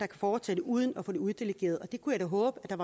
fortsætte uden at få det uddelegeret jeg håber der